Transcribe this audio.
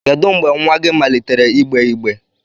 Kedu mgbe nwa gị malitere igbe-igbe?